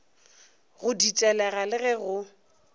go ditelega le ge go